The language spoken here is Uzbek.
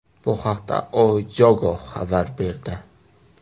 Bu haqda O Jogo xabar berdi .